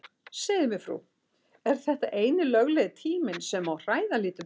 Segðu mér frú, er þetta eini löglegi tíminn sem má hræða lítil börn?